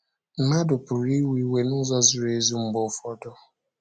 Mmadụ pụrụ iwe iwe n’ụzọ ziri ezi mgbe ụfọdụ.